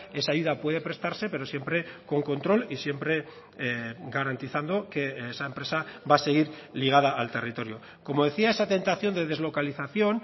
esa ayuda puede prestarse pero siempre con control y siempre garantizando que esa empresa va a seguir ligada al territorio como decía esa tentación de deslocalización